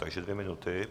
Tak dvě minuty.